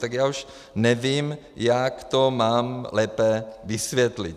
Tak já už nevím, jak to mám lépe vysvětlit.